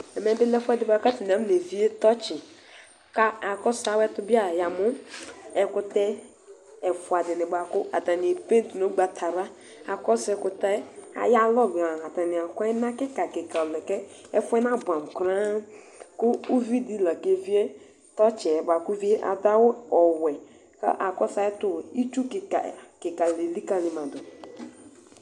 ɛmɛbilɛ ɛƒʋɛdi bʋakatani aƒʋnevie tɔtsi ka akɔsʋ awɛtʋbia yamʋ ɛkʋtɛ ɛƒʋadini bʋakʋ atani NA nʋ gbatawla akɔsʋ ɛkʋtɛ ayalɔnʋa atani akʋ ɛna kika kika lɛ kɛ ƒʋɛ nabʋɛmʋ kran kʋ ʋvidila kevie tɔtsiɛ kadʋ awʋ ɔwɛ ka kɔsʋ ayuɛtʋ itsʋ kika alikalima dʋ